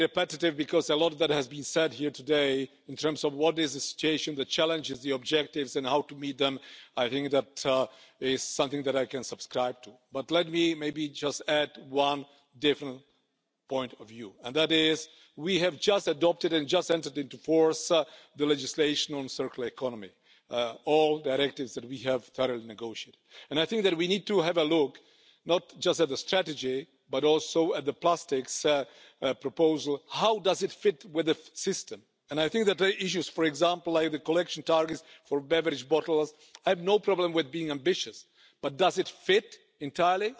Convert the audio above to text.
Yksi esitys, mikä sisältyy komission monivuotiseen rahoituskehykseen, on tietynlaisen muoviveron käyttöönotto, mikä entisestään patistaisi jäsenmaita muovin kierrätykseen. Meillä on edelleen paljon tehtävää. Yksi tärkeimmistä asioista kuluttajan kannalta on se, että tarvitsemme selkeämpiä merkintöjä siitä, mitä muoveja voidaan kierrättää ja millä tavalla ne tulee lajitella. Toisaalta myös teollisuus tarvitsee yhtenäisiä standardeja siihen, millä tavalla kierrätettyjä muoveja voidaan käyttää. Näissä molemmissa on vielä paljon työtä tehtävänä. Samoin kuin siinä, että meidän on investoitava riittävästi alan tutkimukseen ja tuotekehitykseen, jotta voimme löytää muoveille myös kestäviä biopohjaisia korvaajia, jotka ovat ympäristöystävällisiä. Tällaista työtä on meneillään eri puolilla Eurooppaa ja on tärkeää, että suuntaamme tähän tutkimusvoimavaroja.